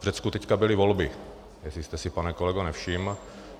V Řecku teď byly volby, jestli jste si, pane kolego, nevšiml.